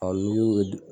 n'i y'u